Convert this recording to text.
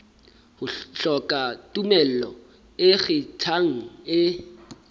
hloka tumello e ikgethang e